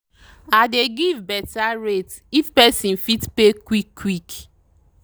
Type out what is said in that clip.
i dey give better rate if person fit pay quick quick.